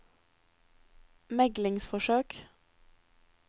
meglingsforsøk